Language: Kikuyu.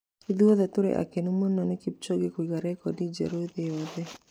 Ithuothe tũrĩ akenu mũno nĩ Kipchoge kũiga rekondi njerũ thĩ yothe.